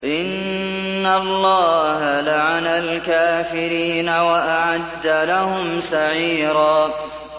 إِنَّ اللَّهَ لَعَنَ الْكَافِرِينَ وَأَعَدَّ لَهُمْ سَعِيرًا